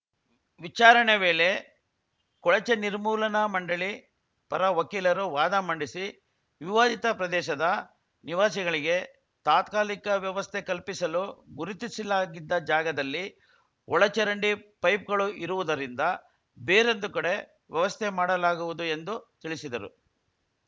ವಿಚಾರಣೆ ವೇಳೆ ಕೊಳಚೆ ನಿರ್ಮೂಲನಾ ಮಂಡಳಿ ಪರ ವಕೀಲರು ವಾದ ಮಂಡಿಸಿ ವಿವಾದಿತ ಪ್ರದೇಶದ ನಿವಾಸಿಗಳಿಗೆ ತಾತ್ಕಾಲಿಕ ವ್ಯವಸ್ಥೆ ಕಲ್ಪಿಸಲು ಗುರುತಿಸಲಾಗಿದ್ದ ಜಾಗದಲ್ಲಿ ಒಳಚರಂಡಿ ಪೈಪ್‌ಗಳು ಇರುವುದರಿಂದ ಬೇರೊಂದು ಕಡೆ ವ್ಯವಸ್ಥೆ ಮಾಡಲಾಗುವುದು ಎಂದು ತಿಳಿಸಿದರು